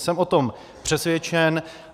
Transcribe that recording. Jsem o tom přesvědčen.